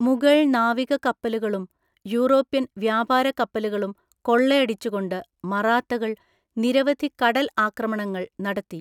മുഗൾ നാവിക കപ്പലുകളും യൂറോപ്യൻ വ്യാപാര കപ്പലുകളും കൊള്ളയടിച്ചുകൊണ്ട് മറാത്തകൾ നിരവധി കടൽ ആക്രമണങ്ങൾ നടത്തി.